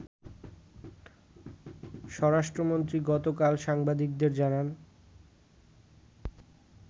স্বরাষ্ট্রমন্ত্রী গতকাল সাংবাদিকদের জানান